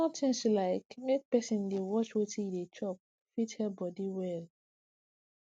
small things like make person dey watch wetin e dey chop fit help body well